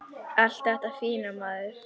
Allt þetta fína, maður.